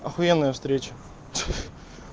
ахуенная встреча